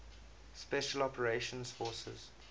special operations forces